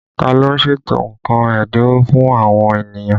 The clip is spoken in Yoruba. Ta ló ń ṣètò nǹkan ẹ́dínwó fún àwọn ènìyàn?